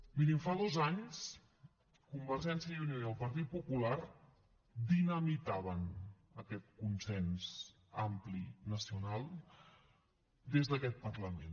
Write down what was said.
mirin fa dos anys convergència i unió i el partit popular dinamitaven aquest consens ampli nacional des d’aquest parlament